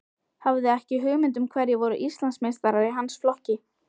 Hafði ekki hugmynd um hverjir voru Íslandsmeistarar í hans flokki.